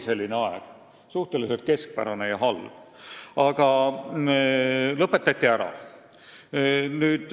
Selline suhteliselt keskpärane ja halb aeg oli, aga see asi lõpetati ära.